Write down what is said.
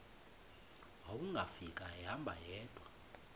wawungafika ehamba yedwa